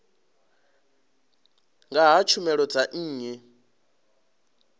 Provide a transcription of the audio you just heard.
nga ha tshumelo dza nnyi